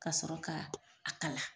K'a sɔrɔ ka a kala.